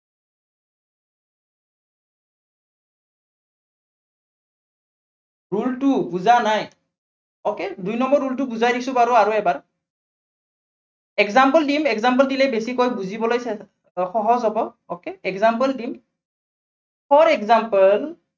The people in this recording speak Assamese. rule two টো বুজা নাই। okay দুই number rule টো বুজাই দিছো বাৰু আৰু এবাৰ। example দিম example দিলে বেছিকৈ বুজিবলৈ সহজ হব। okay example দিম। for example